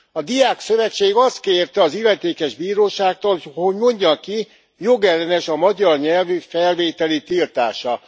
A diákszövetség azt kérte az illetékes bíróságtól, hogy mondja ki, jogellenes a magyar nyelvű felvételi tiltása.